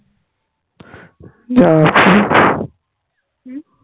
উম